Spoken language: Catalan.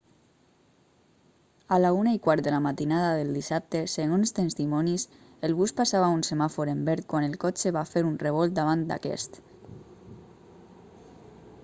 a la 1:15 de la matinada del dissabte segons testimonis el bus passava un semàfor en verd quan el cotxe va fer un revolt davant d'aquest